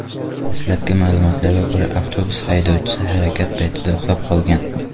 Dastlabki ma’lumotlarga ko‘ra, avtobus haydovchisi harakat paytida uxlab qolgan.